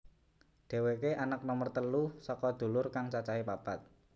Dhéwéké anak nomer telu saka dulur kang cacahé papat